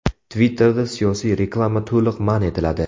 Twitter’da siyosiy reklama to‘liq man etiladi.